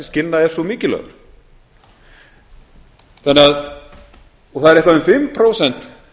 skilnað er svo mikilvægur og það eru eitthvað um fimm prósent